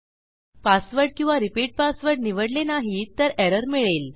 password किंवा repeat password निवडले नाही तर एरर मिळेल